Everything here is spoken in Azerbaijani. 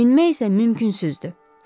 Enmək isə mümkünsüzdür.